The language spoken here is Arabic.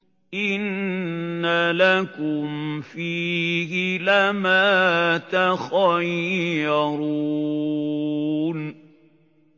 إِنَّ لَكُمْ فِيهِ لَمَا تَخَيَّرُونَ